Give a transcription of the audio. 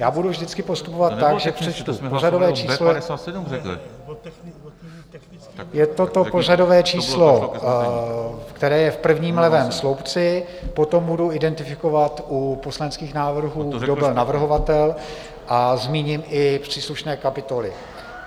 Já budu vždycky postupovat tak, že přečtu pořadové číslo, je to to pořadové číslo, které je v prvním levém sloupci, potom budu identifikovat u poslaneckých návrhů, kdo byl navrhovatel, a zmíním i příslušné kapitoly.